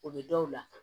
O bɛ dɔw la